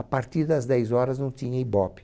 A partir das dez horas não tinha Ibope.